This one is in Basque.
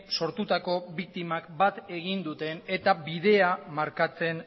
sortutako biktimak bat egin duten eta bidea markatzen